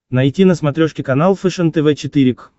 найти на смотрешке канал фэшен тв четыре к